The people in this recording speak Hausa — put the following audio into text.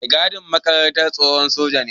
Mai gadin makarantar tsohon soja ne.